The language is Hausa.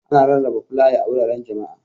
Ana rarraba flaya a wuraren jama'a.